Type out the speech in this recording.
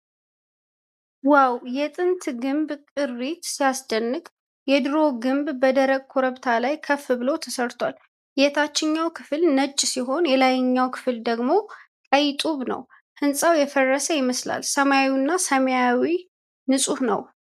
ዋው! የጥንት ግንብ ቅሪት ሲያስደንቅ! የድሮ ግንብ በደረቅ ኮረብታ ላይ ከፍ ብሎ ተሰርቷል። የታችኛው ክፍል ነጭ ሲሆን የላይኛው ክፍል ደግሞ ቀይ ጡብ ነው። ሕንፃው የፈረሰ ይመስላል። ሰማዩ ሰማያዊና ንፁህ ነው።